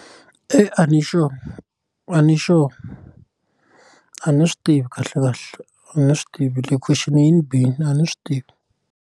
a ni sure a ni sure a ni swi tivi kahle kahle a ni swi tivi leyi question yini bini a ni swi tivi.